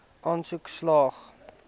aansoek slaag